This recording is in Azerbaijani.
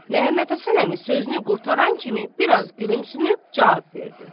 Məmmədhəsən əmi sözünü qurtaran kimi biraz gülümsünüb cavab verdi.